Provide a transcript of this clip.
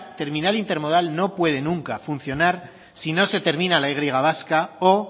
terminal intermodal no puede nunca funcionar si no se termina la y vasca o